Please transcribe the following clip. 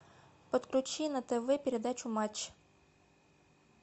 подключи на тв передачу матч